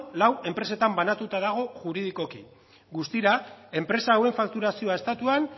lau enpresetan banatuta dago juridikoki guztira enpresa hauen fakturazioa estatuan